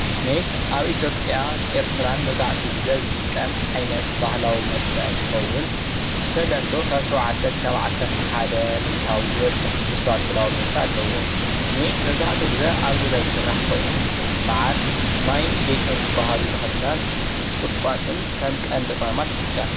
ሜስ ኣብ ኢትዮጵያን ኤርትራን መብዛሕቲኡ ግዜ ዝጥቀም ዓይነት ባህላዊ መስተ እንትኸውን ብተለምዶ ካብ ሸውዓተ ክሳብ ዓሰርተ ሚኢታዊ ዝበፅሕ ትሕዝቶ ኣልኮል ኣለዎ። ሜስ መብዛሕቱኡ ግዜ ኣብ ገዛ ዝስራሕ ኮይኑ መዓር ፣ማይ ፣ጌሾ፣ ቁጥቋጥን ዝባሃሉ ተክልታት ከም ቀንዲ ቅመማት ይጥቀም።